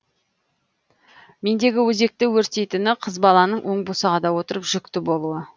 мендегі өзекті өртейтіні қыз баланың оң босағада отырып жүкті болуы